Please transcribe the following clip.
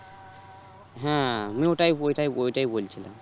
হ্যাঁ আমি ওইটাই ওইটাই ওইটাই বলছিলাম